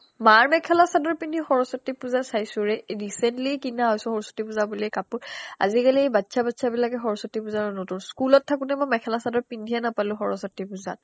মাৰ মেখেলা চাডৰ পিন্ধি সৰস্ৱতি পূজা চাইছো ৰে recently কিনা এজোৰ সৰস্ৱতি পূজা বুলি কাপুৰ আজিকিলি বাচ্চা বাচ্চা বিলাকে সৰস্ৱতি পূজাৰ নতুন স্কুল অত থাকুতে মই মেখেলা চাডৰ পিন্ধি এ নাপালো সৰস্ৱতি পূজাত